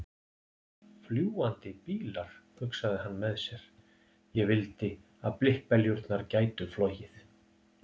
Fljúgandi bílar, hugsaði hann með sér, ég vildi að blikkbeljurnar gætu flogið.